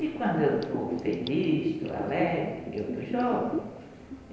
E quando eu estou feliz, estou alegre, eu estou jovem.